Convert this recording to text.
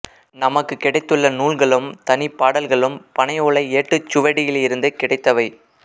நமக்குக் கிடைத்துள்ள நூல்களும் தனிப்பாடல்களும் பனையோலை ஏட்டுச் சுவடியிலிருந்து கிடைத்தவை